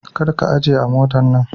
Kar ka aje mota a nan.